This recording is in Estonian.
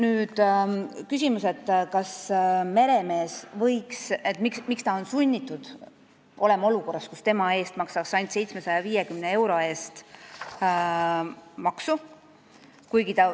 Oli ka küsimus, miks on meremees sunnitud olema olukorras, kus tema eest makstakse maksu ainult 750 euro pealt.